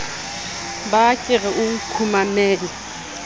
ba ke re o nkgumamele